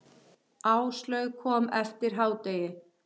Áslaug kom eftir hádegi.